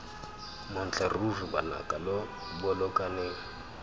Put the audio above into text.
montle ruri banaka lo bolokaneng